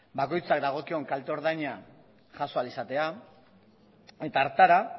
bakoitza dagokion kalte ordaina jaso ahal izatea eta hartara